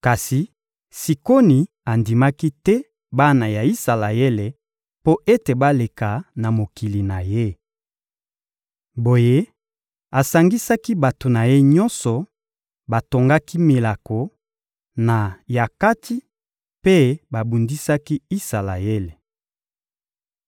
Kasi Sikoni andimaki te bana ya Isalaele mpo ete baleka na mokili na ye. Boye asangisaki bato na ye nyonso; batongaki milako, na Yakatsi, mpe babundisaki Isalaele.